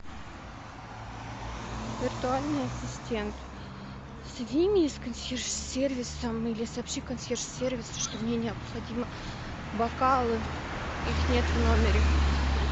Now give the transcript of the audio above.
виртуальный ассистент соедини меня с консьерж сервисом или сообщи консьерж сервису что мне необходимы бокалы их нет в номере